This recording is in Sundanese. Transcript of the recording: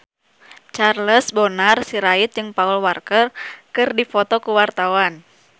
Charles Bonar Sirait jeung Paul Walker keur dipoto ku wartawan